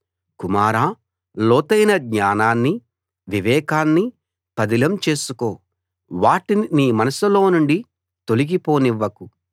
కుమారా లోతైన జ్ఞానాన్ని వివేకాన్ని పదిలం చేసుకో వాటిని నీ మనసులో నుండి తొలగి పోనివ్వకు